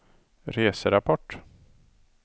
reserapport